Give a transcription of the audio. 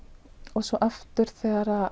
og svo aftur þegar